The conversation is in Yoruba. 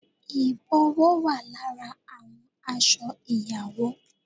Ìbòwó wà lára àwọn aṣọ ìyàwó